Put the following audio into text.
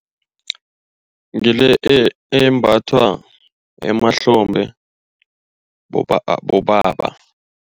Ngile embathwa emahlombe bobaba.